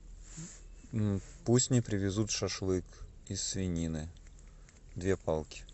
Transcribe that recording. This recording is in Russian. пусть мне привезут шашлык из свинины две палки